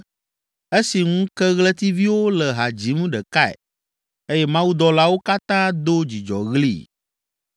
esi ŋukeɣletiviwo le ha dzim ɖekae eye Mawudɔlawo katã do dzidzɔɣli?